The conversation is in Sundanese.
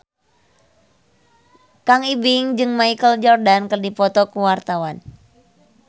Kang Ibing jeung Michael Jordan keur dipoto ku wartawan